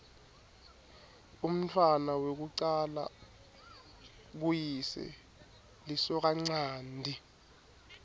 umntfwana wekucala kuyise lisokanchanti